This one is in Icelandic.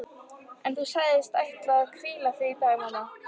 En þú sagðist ætla að hvíla þig í dag mamma.